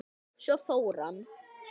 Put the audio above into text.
Svo fór hann.